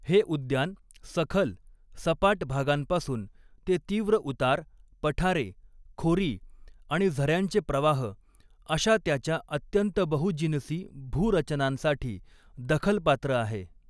हे उद्यान सखल, सपाट भागांपासून ते तीव्र उतार, पठारे, खोरी आणि झऱ्यांचे प्रवाह अशा त्याच्या अत्यंत बहुजिनसी भू रचनांसाठी दखलपात्र आहे.